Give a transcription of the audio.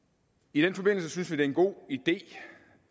i den forbindelse synes vi det er en god idé